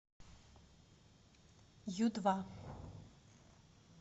ю два